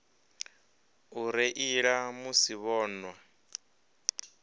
u reila musi vho nwa